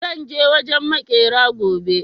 zan je wajen maƙera gobe